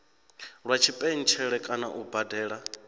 lwa tshipentshele kana u badela